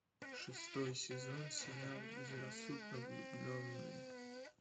шестой сезон сериал безрассудно влюбленные